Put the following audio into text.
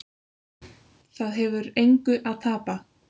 Það hefur engu að tapa